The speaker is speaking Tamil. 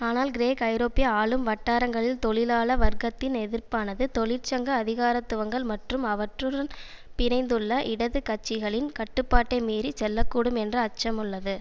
ஆனால் கிரேக் ஐரோப்பிய ஆளும் வட்டாரங்களில் தொழிலாள வர்க்கத்தின் எதிர்ப்பானது தொழிற்சங்க அதிகாரத்துவங்கள் மற்றும் அவற்றுடன் பிணைந்துள்ள இடது கட்சிகளின் கட்டுப்பாட்டை மீறி செல்லக்கூடும் என்ற அச்சம் உள்ளது